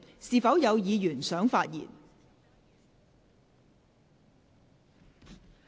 是否有議員想發言？